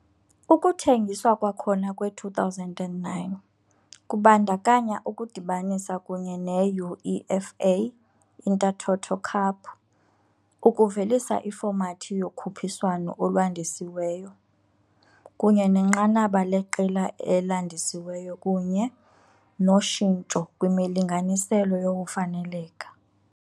Ukuthengiswa kwakhona kwe-2009 kubandakanya ukudibanisa kunye ne- UEFA Intertoto Cup, ukuvelisa ifomathi yokhuphiswano olwandisiweyo, kunye nenqanaba leqela elandisiweyo kunye noshintsho kwimilinganiselo yokufaneleka.